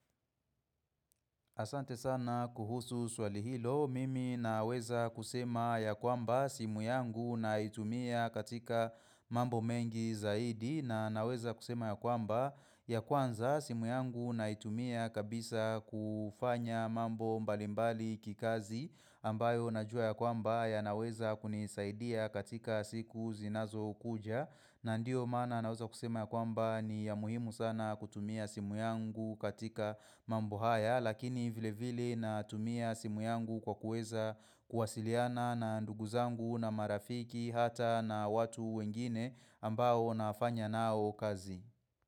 Asante sana kuhusu swali hilo, mimi naweza kusema ya kwamba simu yangu naitumia katika mambo mengi zaidi na naweza kusema ya kwamba ya kwanza simu yangu naitumia kabisa kufanya mambo mbalimbali kikazi ambayo na jua ya kwamba ya naweza kunisaidia katika siku zinazo kuja. Na ndio mana naweza kusema ya kwamba ni ya muhimu sana kutumia simu yangu katika mambo haya lakini vile vile na tumia simu yangu kwa kueza kuwasiliana na nduguzangu na marafiki hata na watu wengine ambao nafanya nao kazi.